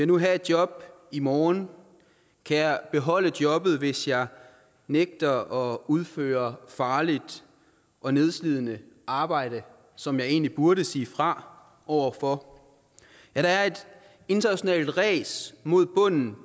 nu have et job i morgen kan jeg beholde jobbet hvis jeg nægter at udføre farligt og nedslidende arbejde som jeg egentlig burde sige fra over for ja der er et internationalt ræs mod bunden